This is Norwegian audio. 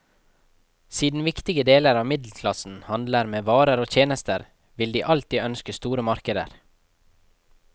Siden viktige deler av middelklassen handler med varer og tjenester, vil de alltid ønske store markeder.